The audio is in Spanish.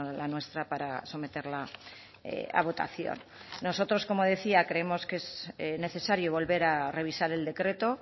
la nuestra para someterla a votación nosotros como decía creemos que es necesario volver a revisar el decreto